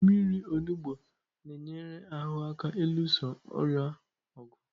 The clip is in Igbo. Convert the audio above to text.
Mmiri onugbu na-enyere ahụ aka ịlụso ọrịa ọgụ.